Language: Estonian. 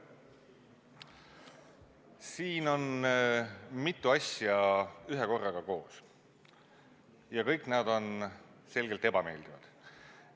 Siin on mitu asja ühekorraga koos ja kõik need on selgelt ebameeldivad.